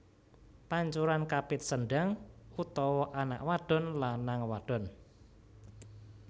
Pancuran Kapit Sendang utawa anak wadon lanang wadon